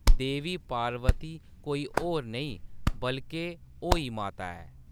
देवी पार्वती कोई होर नेई बल्के अहोई माता ऐ।